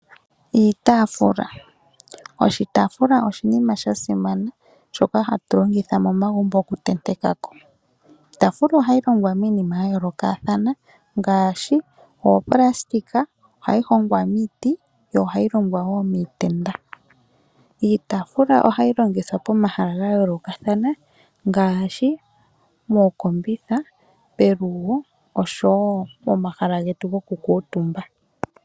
Iitaafula, oshitaafula oshinima sha simana, shoka hatu longitha momagumbo okutenteka ko. Iitaafula ohayi longwa miinima ya yoolokathana ngaashi oopulastika, ohayi longwa miiti yo ohayi longwa wo miitenda. Iitaafula ohayi longithwa pomahala ga yolokathana ngaashi mookombitha, pelugo noshowo pomahala getu gokukuutumba.